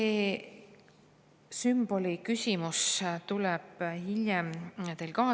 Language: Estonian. " See sümboli küsimus tuleb hiljem ka.